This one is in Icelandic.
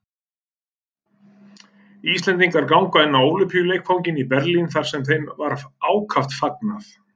Íslendingar ganga inn á Ólympíuleikvanginn í Berlín, þar sem þeim var ákaft fagnað.